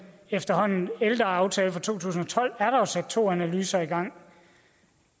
efterhånden ældre aftale fra to tusind og tolv er der sat to analyser i gang